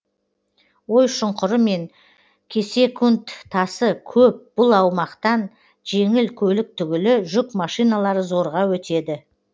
ой шұңқыры мен кесек тасы көп бұл аумақтан жеңіл көлік түгілі жүк машиналары зорға өтеді